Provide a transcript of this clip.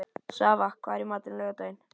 Svava, hvað er í matinn á laugardaginn?